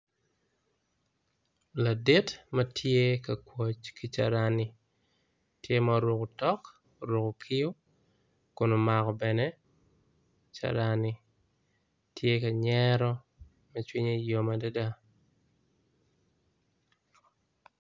Ladit matye ka kwoc ki carani tye ma oruko otok oruko kiu kun omako bene carani tye ka nyero ma cwinye yom adada.